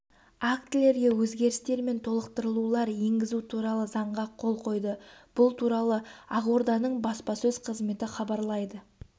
актілерге өзгерістер мен толықтырулар енгізу туралы заңға қол қойды бұл туралы ақорданың баспасөз қызметі хабарлайды